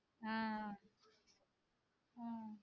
ஆஹ் ஆஹ்